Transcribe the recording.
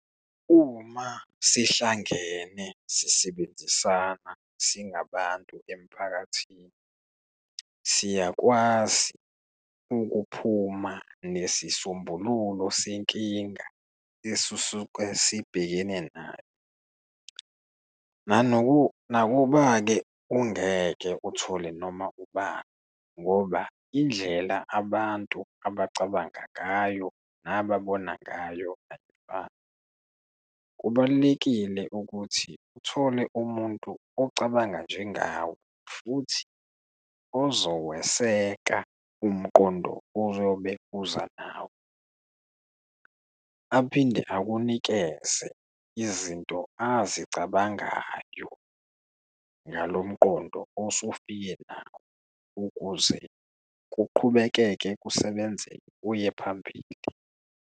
Uma sihlangene sisebenzisana singabantu emphakathini, siyakwazi ukuphuma nesisombululo senkinga esisuke sibhekene nayo. Nakuba-ke ungeke uthole noma ubani, ngoba indlela abantu abacabanga ngayo nababona ngayo eyifani. Kubalulekile ukuthi uthole umuntu ocabanga njengawe, futhi ozoweseka umqondo oyobe uza nawo, aphinde akunikeze izinto azicabangayo ngalo mqondo osufike nawo ukuze kuqhubekeke kusebenzeke kuye phambili.